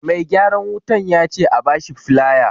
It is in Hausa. Mai gyaran wutan yace a bashi filaya